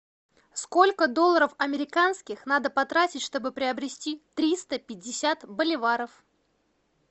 сколько долларов американских надо потратить чтобы приобрести триста пятьдесят боливаров